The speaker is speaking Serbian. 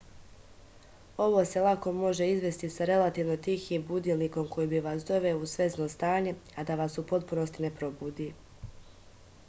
ovo se lako može izvesti sa relativno tihim budilnikom koji bi vas doveo u svesno stanje a da vas u potpunosti ne probudi